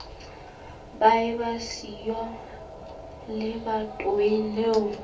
ba eba siyo lebatoweng leo